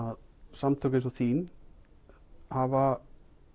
samtök eins og þín hafa